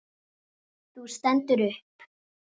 Þú stendur upp.